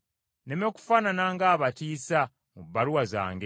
nneme kufaanana ng’abatiisa mu bbaluwa zange.